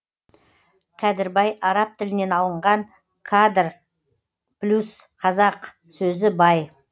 кәдірбаи араб тілінен алынған кадр плюс қазақ сөзі бай